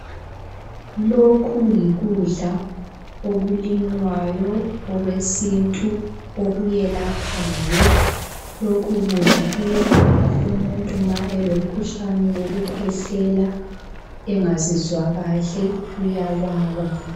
Lokhu yikudla okulinywayo okwesintu okuyelaphayo. Lokhu kudla kuyelapha umuntu ma elomkhuhlane wokukhwehlela, engazizwa kahle uyababa.